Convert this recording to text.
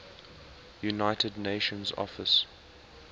united nations office